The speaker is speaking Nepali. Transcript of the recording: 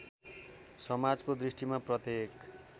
समाजको दृष्टिमा प्रत्येक